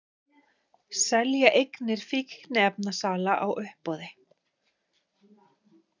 Selja eignir fíkniefnasala á uppboði